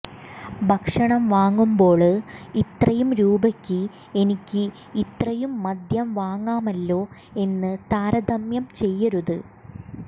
ഭക്ഷണം വാങ്ങുമ്പോള് ഇത്രയും രൂപയ്ക്ക് എനിക്ക് ഇത്രയും മദ്യം വാങ്ങാമല്ലോ എന്ന് താരതമ്യം ചെയ്യരുത്